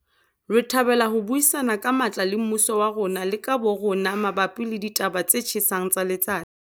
Re thabela ho buisana ka matla le mmuso wa rona le ka bo rona mabapi le ditaba tse tjhesang tsa letsatsi.